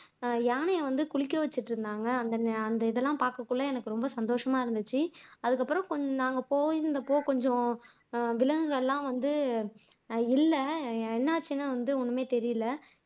யானையை வந்து குளிக்க வச்சுட்டு இருந்தாங்க அந்த அந்த இதுல்லாம் பாக்கறதுக்குள்ள எனக்கு ரொம்ப சந்தோசமா இருந்துச்சு அதுக்கப்புறம் கொஞ்சம் நாங்க போயிருந்தப்போ கொஞ்சம் விலங்குகள் எல்லாம் வந்து இல்லை என்னாச்சுன்னு வந்து ஒண்ணுமே தெரியல